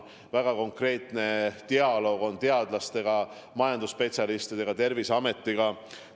On väga konkreetne dialoog teadlastega, majandusspetsialistidega, Terviseametiga.